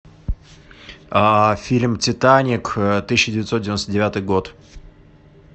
фильм титаник тысяча девятьсот девяносто девятый год